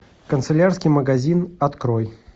канцелярский магазин открой